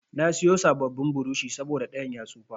Na siyo sabon burushi saboda ɗayan ya tsufa.